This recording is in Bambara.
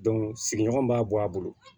sigiɲɔgɔn b'a bɔ a bolo